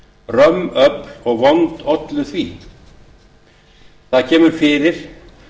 römm öfl og vond ollu því það kemur fyrir